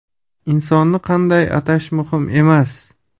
Insonni qanday atash muhim emas.